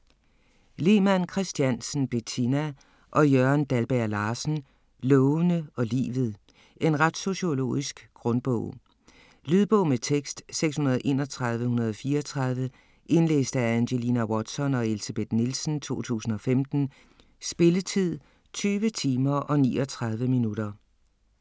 Lemann Kristiansen, Bettina og Jørgen Dalberg-Larsen: Lovene og livet En retssociologisk grundbog. Lydbog med tekst 631134 Indlæst af Angelina Watson og Elsebeth Nielsen, 2015. Spilletid: 20 timer, 39 minutter.